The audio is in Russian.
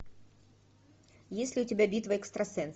есть ли у тебя битва экстрасенсов